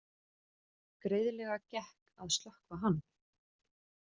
Greiðlega gekk að slökkva hann